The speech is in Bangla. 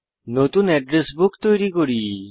নতুন এড্রেস বুক তৈরি করি